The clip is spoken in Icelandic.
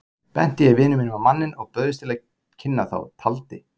Benti ég vini mínum á manninn og bauðst til að kynna þá, taldi